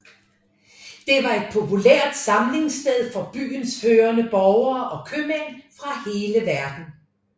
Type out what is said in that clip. Det var et populært samlingssted for byens førende borgere og købmænd fra hele verden